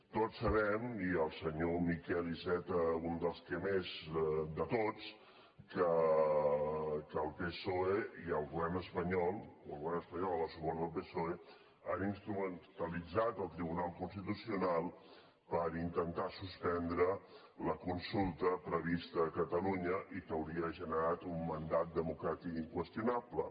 tots sabem i el senyor miquel iceta un dels que més de tots que el psoe i el govern espanyol o el govern espanyol amb el suport del psoe han instrumentalitzat el tribunal constitucional per intentar suspendre la consulta prevista a catalunya i que hauria generat un mandat democràtic inqüestionable